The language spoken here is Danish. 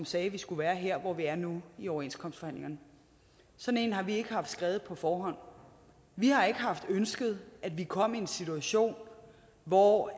sagde vi skulle være her hvor vi er nu i overenskomstforhandlingerne sådan en har vi ikke haft skrevet på forhånd vi har ikke haft ønsket at vi kom i en situation hvor